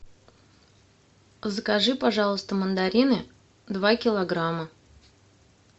закажи пожалуйста мандарины два килограмма